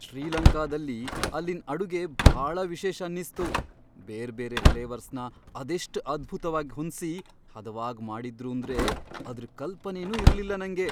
ಶ್ರೀಲಂಕಾದಲ್ಲಿ ಅಲ್ಲಿನ್ ಅಡುಗೆ ಭಾಳ ವಿಶೇಷ ಅನ್ನಿಸ್ತು, ಬೇರ್ಬೇರೆ ಫ್ಲೇವರ್ಸ್ನ ಅದೆಷ್ಟ್ ಅದ್ಭುತ್ವಾಗ್ ಹೊಂದ್ಸಿ ಹದವಾಗ್ ಮಾಡಿದ್ರೂಂದ್ರೆ ಅದ್ರ್ ಕಲ್ಪನೆನೂ ಇರ್ಲಿಲ್ಲ ನಂಗೆ.